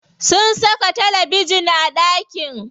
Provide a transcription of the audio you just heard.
Sun saka talabejin a ɗakin.